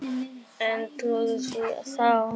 En trúði því þá.